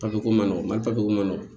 Papiyeko man nɔgɔn mali papiyeko ma nɔgɔ